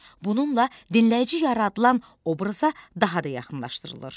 Bununla dinləyici yaradılan obraza daha da yaxınlaşdırılır.